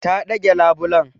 Ta ɗage labulen.